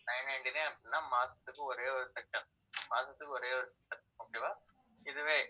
nine ninety-nine அப்படின்னா மாசத்துக்கு ஒரே ஒரு session மாசத்துக்கு ஒரே ஒரு session okay வா இதுவே